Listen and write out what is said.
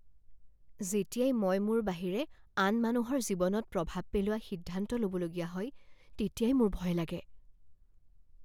যেতিয়াই মই মোৰ বাহিৰে আন মানুহৰ জীৱনত প্ৰভাৱ পেলোৱা সিদ্ধান্ত ল'বলগীয়া হয় তেতিয়াই মোৰ ভয় লাগে।